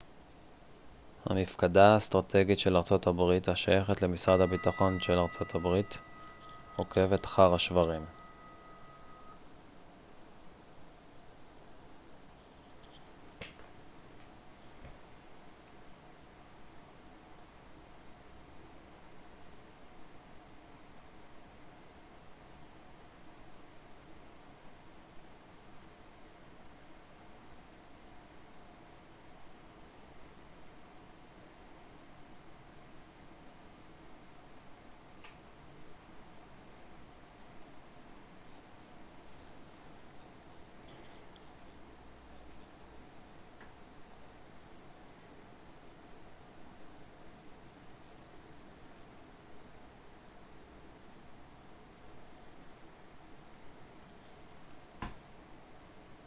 המפקדה האסטרטגית של ארצות הברית השייכת למשרד הביטחון של ארצות הברית עוקבת אחר השברים